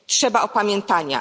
Trzeba opamiętania.